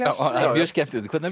mjög skemmtilegt hvernig